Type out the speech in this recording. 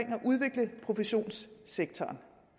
professionssektoren